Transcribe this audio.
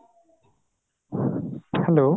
hello